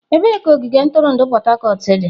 Ebee ka ogige ntụrụndụ Port Harcourt dị?